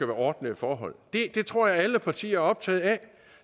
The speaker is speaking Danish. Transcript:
ordnede forhold det tror jeg alle partier er optaget af